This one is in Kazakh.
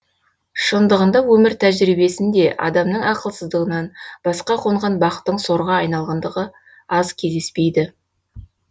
шындығында өмір тәжірибесінде адамның ақылсыздығынан басқа қонған бақтың сорға айналғандығы аз кездеспейді